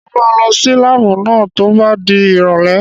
Mo máa lọ sí láàbù náà tó bá di ìrọ̀lẹ́